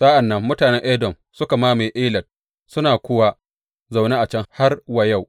Sa’an nan mutanen Edom suka mamaye Elat suna kuwa zaune a can har yau.